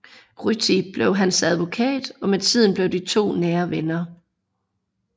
Ryti blev hans advokat og med tiden blev de to nære venner